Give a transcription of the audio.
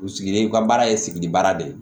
U sigilen u ka baara ye sigida baara de ye